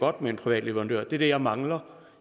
godt med en privat leverandør det er det jeg mangler